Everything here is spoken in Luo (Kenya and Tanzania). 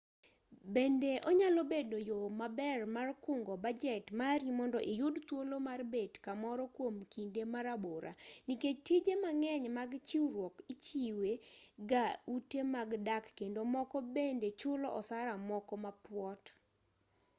bende onyalo bedo yo maber mar kungo bajet mari mondo iyud thuolo mar bet kamoro kwom kinde marabora nikech tije mang'eny mag chiwruok ichiwe ga ute mag dak kendo moko bende chulo osara moko mapuot